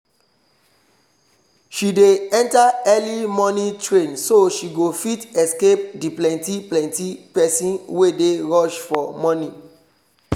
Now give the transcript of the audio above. she dey enter early morning train so she go fit escape the plenty plenty pesin wey dey rush for morning